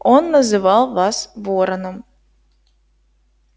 он называл вас вороном